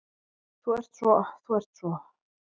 Þú ert svo. þú ert svo.